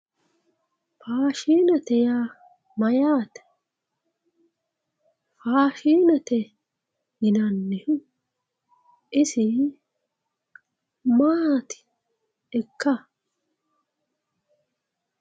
faashiinete yaa mayaate fashiinete yinannihu issi maatikka